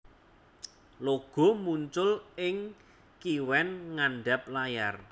Logo muncul ing kiwen ngandap layar